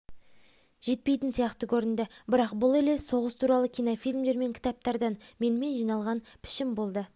жетпейтін сияқты көрінді бірақ бұл елес соғыс туралы кинофильмдер мен кітаптардан менімен жиналған пішін болды